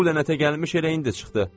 Bu lənətə gəlmiş elə indi çıxdı.